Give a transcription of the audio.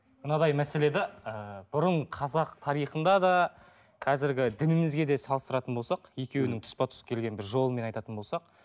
мынадай мәселе де ыыы бұрын қазақ тарихында да қазіргі дінімізге де салыстыратын болсақ екеуінің тұспа тұс келген бір жолымен айтатын болсақ